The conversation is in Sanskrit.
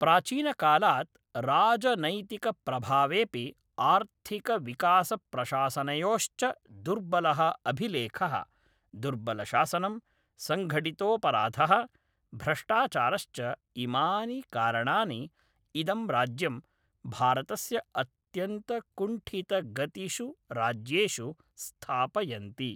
प्राचीनकालात् राजनैतिकप्रभावेऽपि आर्थिकविकासप्रशासनयोश्च दुर्बलः अभिलेखः, दुर्बलशासनं, सङघटितोऽपराधः, भ्रष्टाचारश्च इमानि कारणानि इदं राज्यं भारतस्य अत्यन्त कुण्ठितगतिषु राज्येषु स्थापयन्ति।